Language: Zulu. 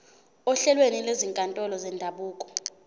ohlelweni lwezinkantolo zendabuko